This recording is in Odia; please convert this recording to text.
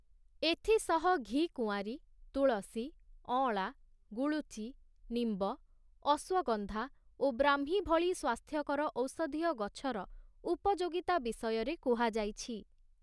ଏଥିସହ ଘିକୁଆଁରୀ, ତୁଳସୀ, ଅଁଳା, ଗୁଳୁଚି, ନିମ୍ବ, ଅଶ୍ୱଗନ୍ଧା ଓ ବ୍ରାହ୍ମୀ ଭଳି ସ୍ୱାସ୍ଥ୍ୟକର ଔଷଧୀୟ ଗଛର ଉପଯୋଗିତା ବିଷୟରେ କୁହାଯାଇଛି ।